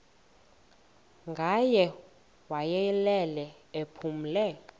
ngaye wayelele ephumle